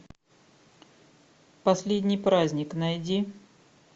последний праздник найди